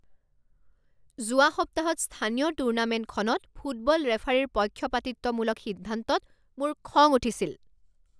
যোৱা সপ্তাহত স্থানীয় টুৰ্ণামেণ্টখনত ফুটবল ৰেফাৰীৰ পক্ষপাতিত্বমূলক সিদ্ধান্তত মোৰ খং উঠিছিল।